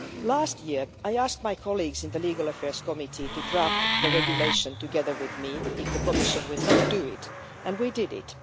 Last year, I asked my colleagues in the Committee on Legal Affairs to draft the regulation together with me if the Commission would not do it, and we did it.